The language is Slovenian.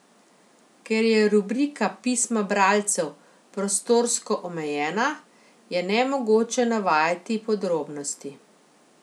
Ker je rubrika pisma bralcev prostorsko omejena, je nemogoče navajati podrobnosti.